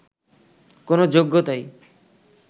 কোন যোগ্যতাই